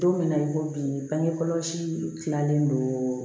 Don min na i ko bi bange kɔlɔsi kilalen don